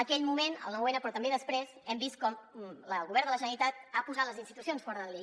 aquell moment el noun però també després hem vist com el govern de la generalitat ha posat les institucions fora de la llei